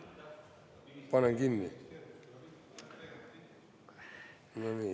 Panen kinni.